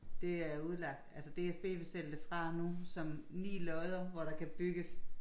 Det er udlagt altså DSB vil sælge det fra nu som 9 lodder hvor der kan bygges